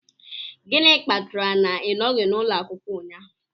Gịnị kpatara na ị nọghị n'ụlọ akwụkwọ ụnyahụ?